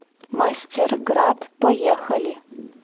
мастерград поехали